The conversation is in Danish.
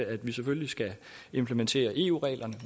at vi selvfølgelig skal implementere eu reglerne